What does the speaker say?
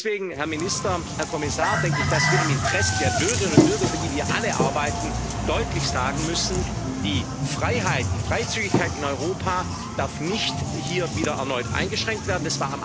Deswegen, Herr Minister, Herr Kommissar, denke ich, dass wir im Interesse der Bürgerinnen und Bürger für die wir alle arbeiten deutlich sagen müssen Die Freiheit, die Freizügigkeit in Europa dürfen hier nicht wieder erneut eingeschränkt werden.